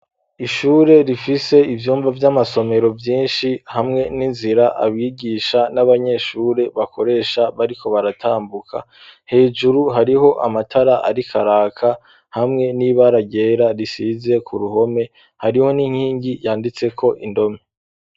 Ishure, rifise ivyumba, vy'amasomero, vyinshi, hamwe n'inzira, abigisha n'abanyeshure, bakoresha, bariko baratambuka; hejuru, hariho amatara ariko araka, hamwe n'ibara ryera, risize ku ruhome; hariho n'inkingi yanditseko, indome.